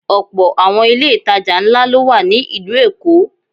Ọ̀pọ̀ àwọn ilé ìtajà ńlá ló wà ní ìlú Èkó.